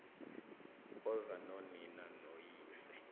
oza nonina noyise